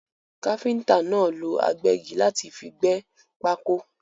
Káfíntà náà lọ agbẹ́gi láti fi gbẹ́ pákó.